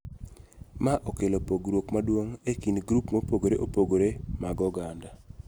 Ma okelo pogruok maduong� e kind grup mopogore opogore mag oganda.